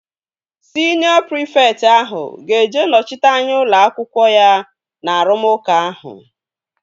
Siniọ prịfekt ahụ ga-eje nọchite anya ụlọ akwụkwọ ya na arụmụka ahụ